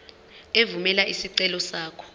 evumela isicelo sakho